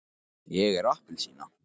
ég er appelsína.